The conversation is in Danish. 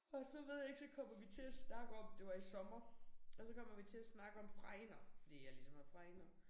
Og så ved jeg ikke så kommer vi til at snakke om det var i sommer og så kommer vi til at snakke om fregner fordi jeg ligesom har fregner